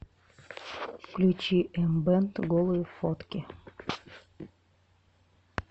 включи эмбэнд голые фотки